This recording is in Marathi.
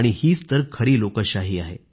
हीच तर खरी लोकशाही आहे